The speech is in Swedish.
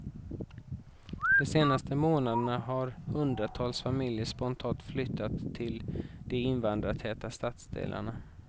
De senaste månaderna har hundratals familjer spontant flyttat till de invandrartäta stadsdelarna.